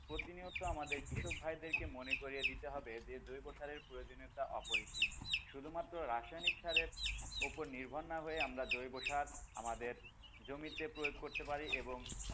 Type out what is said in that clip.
প্রতিনিয়ত আমাদের কৃষক ভাইদেরকে মনে করিয়ে দিতে হবে যে জৈব সারের প্রয়োজনীয়তা অপরিসীম শুধু মাত্র রাসানিক রাসের উপর নির্ভর না হয়ে আমরা জৈব সার আমাদের জমিতে প্রয়োগ করতে পারি এবং,